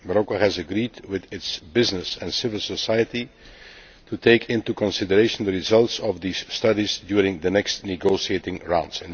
Morocco has agreed with its business sector and civil society to take into consideration the results of these studies during the next negotiating rounds.